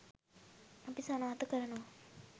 අපි සනාථ කරනවා.